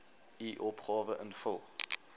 u opgawe invul